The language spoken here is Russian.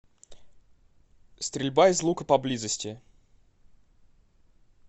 стрельба из лука поблизости